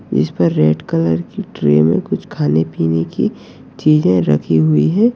इस पर red colour की ट्रे में कुछ खाने पिने की चीजें रखी हुई हैं ।